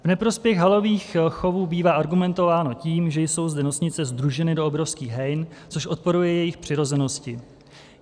V neprospěch halových chovů bývá argumentováno tím, že jsou zde nosnice sdruženy do obrovských hejn, což odporuje jejich přirozenosti.